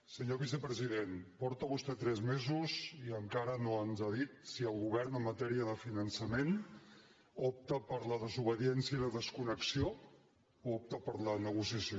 senyor vicepresident porta vostè tres mesos i encara no ens ha dit si el govern en matèria de finançament opta per la desobediència i la desconnexió o opta per la negociació